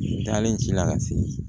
Dalen ci la ka se